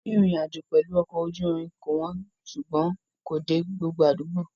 Rírìn ìrìnàjò pẹ̀lú ọkọ̀ ojú irin kò wọ́n ṣùgbọ́n kò dé gbogbo àdúgbò.